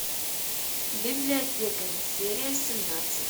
библиотекари серия семнадцать